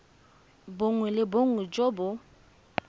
bongwe le bongwe jo bo